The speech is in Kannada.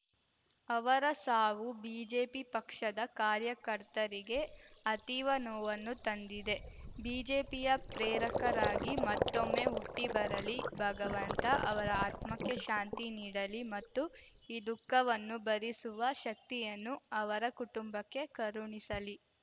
ಅವರ ಸಾವು ಬಿಜೆಪಿ ಪಕ್ಷದ ಕಾರ್ಯಕರ್ತರಿಗೆ ಅತೀವ ನೋವನ್ನು ತಂದಿದೆ ಬಿಜೆಪಿಯ ಪ್ರೇರಕರಾಗಿ ಮತ್ತೊಮ್ಮೆ ಹುಟ್ಟಿಬರಲಿ ಭಗವಂತ ಅವರ ಆತ್ಮಕ್ಕೆ ಶಾಂತಿ ನೀಡಲಿ ಮತ್ತು ಈ ದುಃಖವನ್ನು ಭರಿಸುವ ಶಕ್ತಿಯನ್ನು ಅವರ ಕುಟುಂಬಕ್ಕೆ ಕರುಣಿಸಲಿ